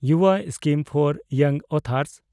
ᱡᱩᱵᱟ scheme for young authors